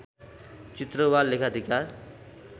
चित्र वा लेखाधिकार